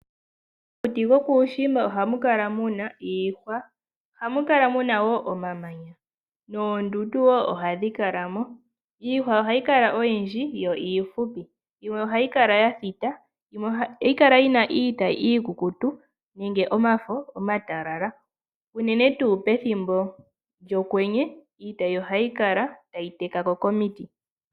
Momakuti gokuushimba ohamu kala muna iihwa, omamanya noondundu wo. Iihwa ohayi kala oyindji yo iihupi, ohayi kala ya thita, yimwe ohayi kala yina iitayi iikukutu nenge omafo omatalala uunene tuu pethimbo lyokwenye iitayi ohayi kala tayi teka ko komiti.